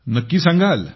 नक्की सांगाल